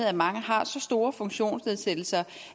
at mange har så store funktionsnedsættelser